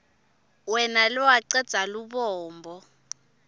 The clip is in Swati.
wena lowacedza lubombo